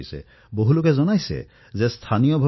কিন্তু অন্ধকাৰৰ পৰা জ্যোতিৰ দিশলৈ যোৱাটো মানুহৰ স্বভাৱেই